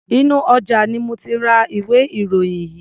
Inú ọjà ni mo ti ra ìwé-ìròyìn yìí.